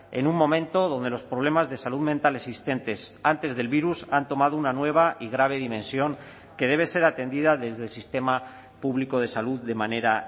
en un momento donde los problemas de salud mental existentes antes del virus han tomado una nueva y grave dimensión que debe ser atendida desde el sistema público de salud de manera